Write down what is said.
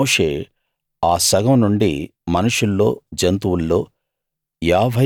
మోషే ఆ సగం నుండి మనుషుల్లో జంతువుల్లో